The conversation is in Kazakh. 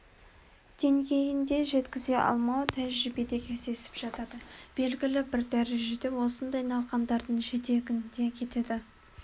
деңгейінде жеткізе алмау тәжірибеде кездесіп жатады белгілі бір дәрежеде осындай науқандардың жетегінде кетеді